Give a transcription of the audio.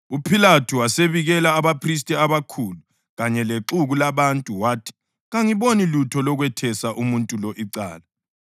UPhilathu wasebikela abaphristi abakhulu kanye lexuku labantu wathi, “Kangiboni lutho lokwethesa umuntu lo icala.”